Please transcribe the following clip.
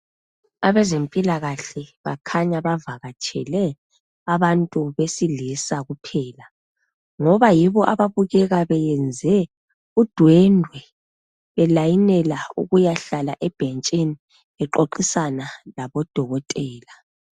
Abezempilakahle bakhanya bavakatshele abantu besilisa kuphela ngoba yibo ababukeka beyenze udwendwe be layinela ukuyahlala ebhentshini bexoxisana labodokotela.